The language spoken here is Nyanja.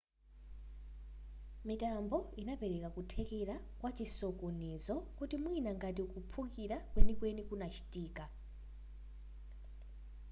mitambo inapereka kuthekera kwa chisokonezo kuti mwina ngati kuphulika kwenikweni kunachitika